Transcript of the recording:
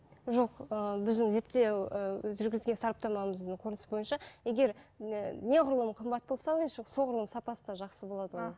жоқ ііі біздің зертеу ііі жүргізген сараптамамыздың қортындысы бойынша егер і неғұрлым қымбат болса ойыншық соғұрлым сапасы да жақсы болады оның